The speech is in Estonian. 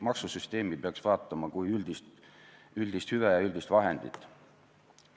Maksusüsteemi peaks vaatama kui üldist hüvet ja üldist vahendit.